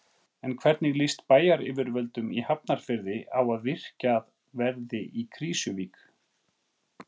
En hvernig líst bæjaryfirvöldum í Hafnarfirði á að virkjað verði í Krýsuvík?